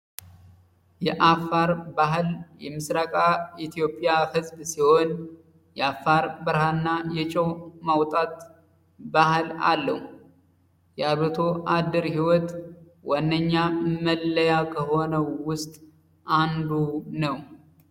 የአፋር ባህል የምራቃ ኢትዮጵያ ህዝብ ሲሆን የአፋር ብርሃንና የጨው ማውጣት ባህል አለው። የአርብቶ አደር ህይወት ዋነኛ መለያ ከሆነው ውስጥ አንዱ ነው።